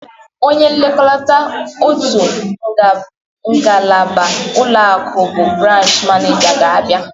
Onye nlekọta otu ngalaba ụlọakụ bụ branch maneja ga-abịa.